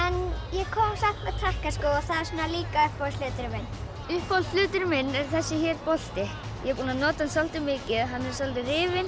ég kom samt með takkaskó það er líka uppáhalds hluturinn minn er þessi bolti ég er búinn að nota hann soldið mikið hann er soldið rifinn